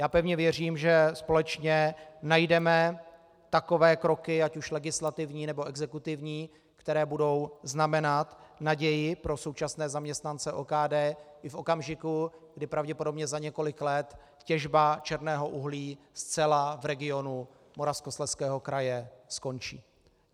Já pevně věřím, že společně najdeme takové kroky, ať už legislativní, nebo exekutivní, které budou znamenat naději pro současné zaměstnance OKD i v okamžiku, kdy pravděpodobně za několik let těžba černého uhlí zcela v regionu Moravskoslezského kraje skončí.